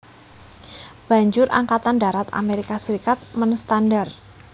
Banjur Angkatan Darat Amerika Serikat menstandar